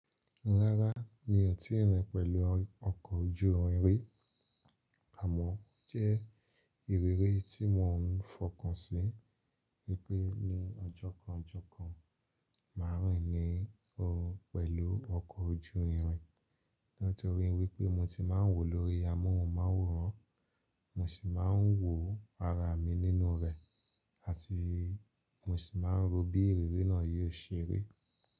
Rárá, mi ò tíì rìn pẹ̀lú ọkọ̀ ojú irin, àmọ́ ó jẹ́ ìrírí tí mò ń fọkàn sí wípé ní ọjọ́ kan ọjọ́ kan má rìn ni o pẹ̀lú ọkọ̀ ojú irin. Nítorí wípé mo ti má ń wò lórí amóhùnmáwòrán, mo sì má ń wò ara mi nínú rẹ̀, àti mo sì má ń ro bí ìrírí náà yóò ṣe rí.